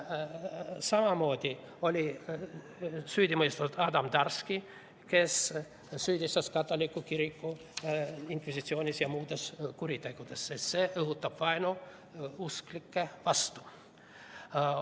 Samamoodi on süüdi mõistetud Adam Darski, kes süüdistas katoliku kirikut inkvisitsioonis ja muudes kuritegudes, sest see õhutab vaenu usklike vastu.